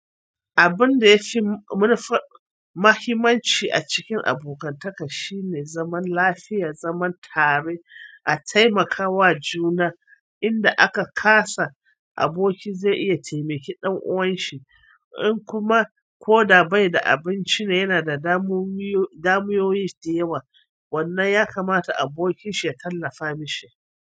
Abun da yafi mu-mahimanci a cikin abokantaka shine zaman lafiya, zaman tare, a taimakawa juna. Inda aka kasa, aboki zai iya taimake ɗan'uwan shi. In kuma ko da bai da abinci ne yana da damu-damuwoyi da yawa, wannan ya kamata abokin shi ya tallafa mashi.